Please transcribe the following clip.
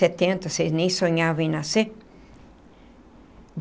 Setenta vocês nem sonhavam em nascer.